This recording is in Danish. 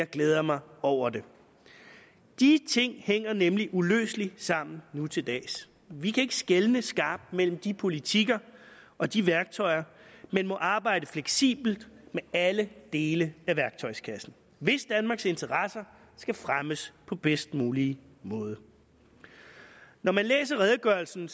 glæder mig over det de ting hænger nemlig uløseligt sammen nu til dags vi kan ikke skelne skarpt mellem de politikker og de værktøjer men må arbejde fleksibelt med alle dele af værktøjskassen hvis danmarks interesser skal fremmes på den bedst mulige måde når man læser redegørelsen